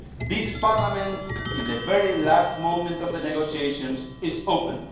This parliament, in the very last moments of the negotiations, is open